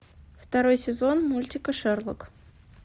второй сезон мультика шерлок